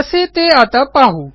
कसे ते आता पाहू